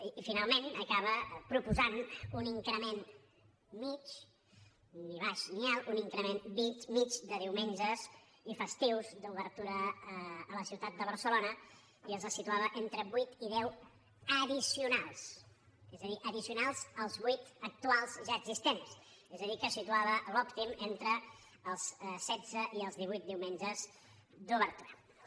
i finalment acaba proposant un increment mitjà ni baix ni alt un increment mitjà de diumenges i festius d’obertura a la ciutat de barcelona i els situava entre vuit i deu addicionalsals vuit actuals ja existents és a dir que situava l’òptim entre els setze i els divuit diumenges d’obertura